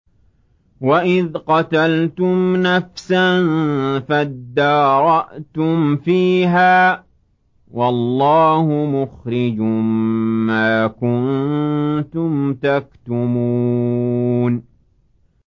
وَإِذْ قَتَلْتُمْ نَفْسًا فَادَّارَأْتُمْ فِيهَا ۖ وَاللَّهُ مُخْرِجٌ مَّا كُنتُمْ تَكْتُمُونَ